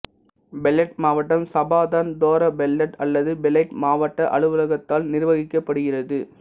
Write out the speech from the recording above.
பெலேட் மாவட்டம் சபாதன் தோரா பெலேட் அல்லது பெலைட் மாவட்ட அலுவலகத்தால் நிர்வகிக்கப்படுகிறது